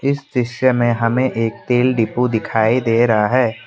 इस दृश्य में हमें एक तेल डिपो दिखाई दे रहा है।